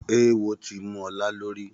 Oówo tí mú ọlá lórí